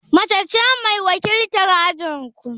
Mace ce mai wakiltar ajin ku?